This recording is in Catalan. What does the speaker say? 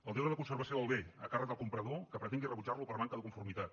el deure de conservació del bé a càrrec del comprador que pretengui rebutjarlo per manca de conformitat